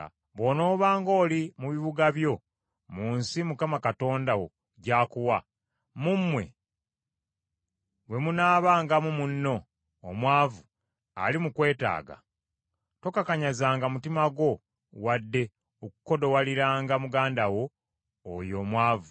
Bw’onoobanga oli mu bibuga by’omu nsi Mukama Katonda wo gy’akuwa, mu mmwe bwe munaabangamu munno omwavu ali mu kwetaaga tokakanyazanga mutima gwo wadde okukodowaliranga muganda wo oyo omwavu.